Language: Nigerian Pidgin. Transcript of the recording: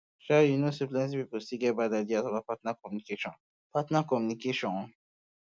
shay um you um know say plenty people still dey get bad ideas um about partner communication partner communication